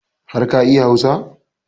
Har ka iya Hausa?